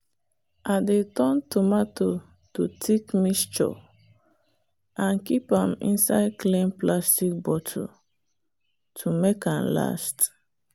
i dey turn tomato to thick mixture and keep am inside clean plastic bottle to make am last.